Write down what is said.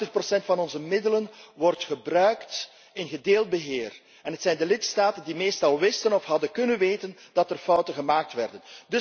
Tachtig procent van onze middelen wordt gebruikt in gedeeld beheer en het zijn de lidstaten die meestal wisten of hadden kunnen weten dat er fouten gemaakt werden.